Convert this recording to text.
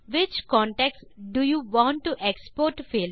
which contacts do you want to export